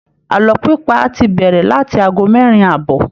Àlọ́ pípa ti bẹ̀rẹ̀ láti ago mẹ́rin àbọ̀